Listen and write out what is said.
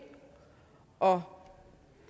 og